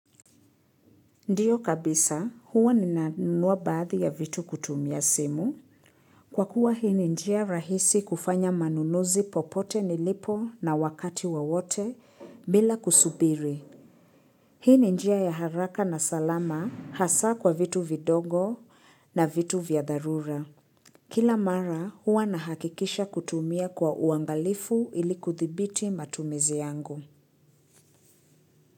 Ndiyo kabisa, huwa ninanunua baadhi ya vitu kutumia simu. Kwa kuwa hii ni njia rahisi kufanya manunuzi popote nilipo na wakati wa wowote bila kusubiri. Hii ni njia ya haraka na salama hasa kwa vitu vidogo na vitu vya dharura. Kila mara, huwa nahakikisha kutumia kwa uangalifu ili kudhibiti matumizi yangu.